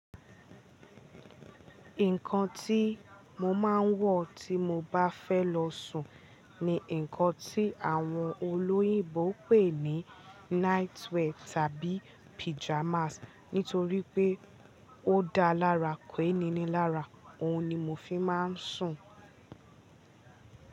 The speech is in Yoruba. Nǹkan tí mo máa ń wọ̀ tí mo bá fẹ́ lọ sùn ni nǹkan tí àwọn olóyìnbo ń pè ní night wear tàbí pyjamas. Nítorí pé ó dá lára ke ni ní lára òun ni mo fi máa ń sùn.